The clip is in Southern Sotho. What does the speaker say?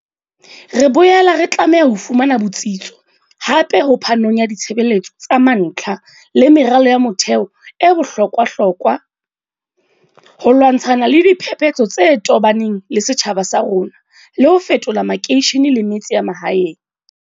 Re boela re tlameha ho fumana botsitso hape ho phanong ya ditshebeletso tsa mantlha le meralo ya motheo e bohlo kwahlokwa, ho lwantshana le diphepetso tse tobaneng le setjhaba sa rona le ho fetola makeishene le metse ya mahaeng.